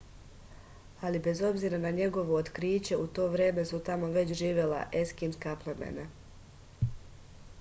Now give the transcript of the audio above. ali bez obzira na njegovo otkriće u to vreme su tamo već živela eskimska plemena